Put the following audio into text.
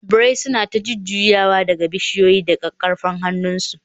birai sun yi ta jujjuyawa daga bishiyoyi da kakkarfar hannu.